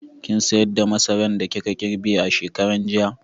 Kin sayar da masaran da kika girbe shekaran jiya?